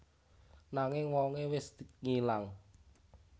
Nanging wongé wis ngilang